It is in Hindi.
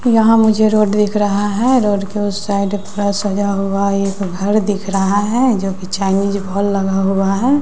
यहाँ मुझे रोड दिख रहा है रोड के उस साइड थोड़ा सजा हुआ है एक घर दिख रहा है जो की चाइनीज भोल लगा हुआ है।